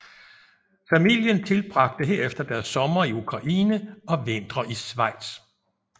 Familien tilbragte herefter deres somre i Ukraine og vintre i Schweiz